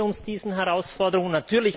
Stellen wir uns diesen Herausforderungen!